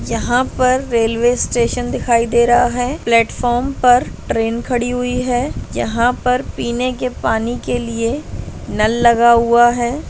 यहाँ पर railway station दिखाई दे रहा है प्लेटफार्म पर ट्रेन खड़ी हुई है यहाँ पर पीने के पानी के लिए नल लगा हुआ है।